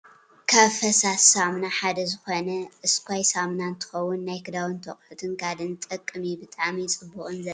ካብ ፈሳሲ ሳሙና ሓደ ዝኮነ እስካይ ሳሙና እንትከውን ናይ ክዳውንትን ኣቁሑት ካልእን ዝጠቅም እዩ። ብጣዕሚ ፅቡቅን ዘፅርይን ምኳኑ ትፈልጡ ዶ?